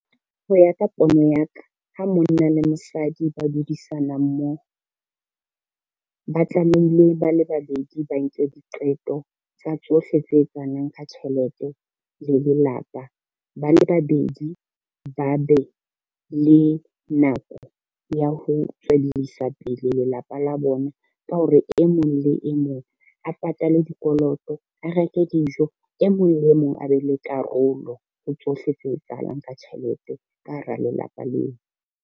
Ho ya ka pono ya ka, ha monna le mosadi ba dudisana mmoho, ba tlamehile ba le babedi ba nke diqeto tsa tsohle tse etsahalang ka tjhelete le lelapa. Ba le babedi ba be le nako ya ho tswellisa pele lelapa la bona ka hore, e mong le e mong a patale dikoloto, a reke dijo, e mong le e mong a be le karolo ho tsohle tse etsahalang ka tjhelete ka hara lelapa leo.